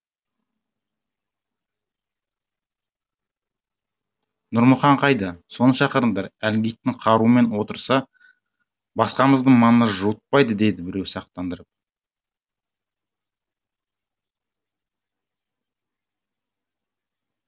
нұрмұхан қайда соны шақырыңдар әлгі итің қарумен отырса басқамызды маңына жуытпайды деді біреу сақтандырып